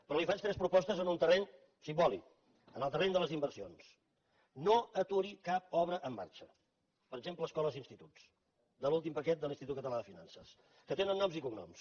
però li faig tres propostes en un terreny simbòlic en el terreny de les inversions no aturi cap obra en marxa per exemple escoles i instituts de l’últim paquet de l’institut català de finances que tenen noms i cognoms